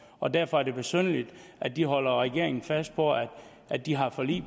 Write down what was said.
og derfor er det besynderligt at de holder regeringen fast på at at de har et forlig